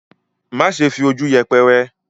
má ṣe fi ojú yẹpẹrẹ.